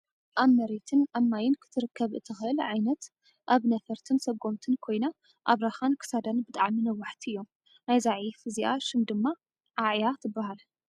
ኣብ መሬትን ኣብ ማይን ክትርከብ እትኽእል ዓይነት ኣብ ነፈርትን ሰጎምትን ኮይና ኣብራካን ክሳዳን ብጣዕሚ ነዋሕቲ እዮም። ናይዛ ዒፍ እዚኣ ሽም ድማ ዓዕያ ትበሃል።